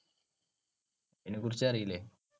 അതിനെ കുറിച്ചറിയില്ലേ?